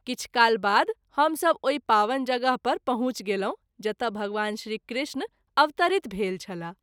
किछु काल बाद हम सभ ओहि पावन जगह पर पहुँच गेलहुँ जतय भगवान श्री कृष्ण अवतरित भेल छलाह।